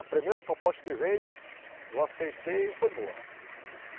A primeira proposta que veio, eu aceitei e foi boa.